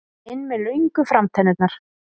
inn með löngu framtennurnar.